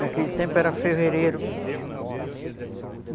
Naquele tempo era fevereiro.